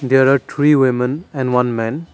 there are three women and one man.